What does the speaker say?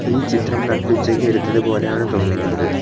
ഈ ചിത്രം നട്ടുച്ചയ്ക്ക് എടുത്തത് പോലെയാണ് തോന്നുന്നത്.